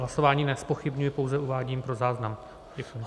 Hlasování nezpochybňuji, pouze uvádím pro záznam.